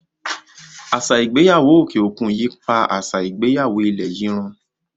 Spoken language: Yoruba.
Àṣà ìgbéyàwó òkè òkun yíi pá àṣà ìgbéyàwó ilẹ̀ yìí run.